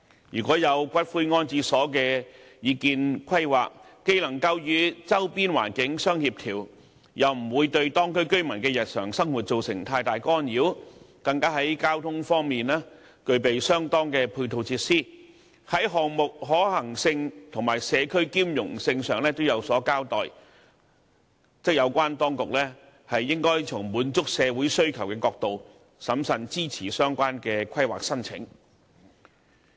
如果有骨灰安置所的擬議規劃既能夠與周邊環境相協調，又不會對當區居民的日常生活造成太大干擾，更在交通方面具備相當的配套設施，在項目可行性及社區兼容性上也有所交代，有關當局則應從滿足社會需求的角度，審慎支持相關規劃申請。